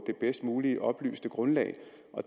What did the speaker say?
det bedst mulige oplyste grundlag